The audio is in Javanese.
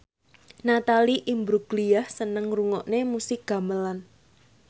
Natalie Imbruglia seneng ngrungokne musik gamelan